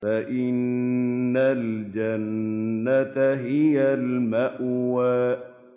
فَإِنَّ الْجَنَّةَ هِيَ الْمَأْوَىٰ